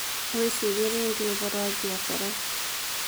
Wĩcirie rĩngĩ ũhoro wa biacara.